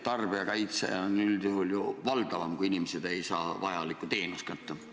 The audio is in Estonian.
Tarbijakaitse on üldjuhul ju valdavam, kui inimesed ei saa vajalikku teenust kätte.